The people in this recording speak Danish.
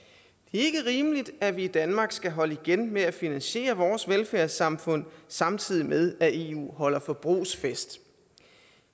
er ikke rimeligt at vi i danmark skal holde igen med at finansiere vores velfærdssamfund samtidig med at eu holder forbrugsfest